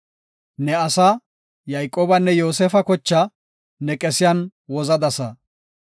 Ne asaa, Yayqoobanne Yoosefa kochaa ne qesiyan wozadasa. Salaha